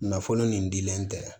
Nafolo nin dilen tɛ